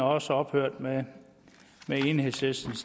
også ophørt da enhedslisten